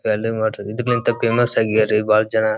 welding water ಇದಕ್ಕಿಂತ famous ಅಗ್ಯರೇ ಬಹಳ ಜನ --